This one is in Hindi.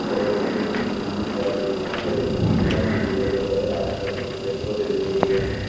और कुछ बिजली तारें भी यहां पर एक मैदान भी दिखाई दे रहा है आसपास कुछ पेड़ पौधे भी लगे हुए हैं।